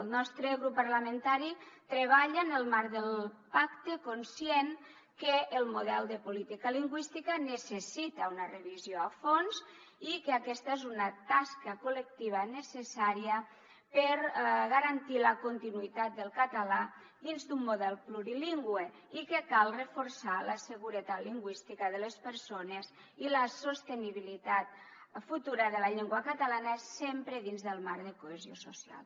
el nostre grup parlamentari treballa en el marc del pacte conscient que el model de política lingüística necessita una revisió a fons i que aquesta és una tasca col·lectiva necessària per garantir la continuïtat del català dins d’un model plurilingüe i que cal reforçar la seguretat lingüística de les persones i la sostenibilitat futura de la llengua catalana sempre dins del marc de cohesió social